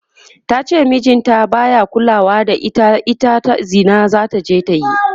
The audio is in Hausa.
tace mijin ta baya kulawa da ita, ita Zina zataje ta yi